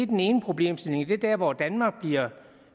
den ene problemstilling det er der hvor danmark bliver